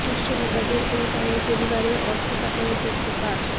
বিশ্ব নেতাদের ও তাদের পরিবারের অর্থ পাচারের তথ্য ফাঁস